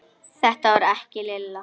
Þetta var ekki Lilla.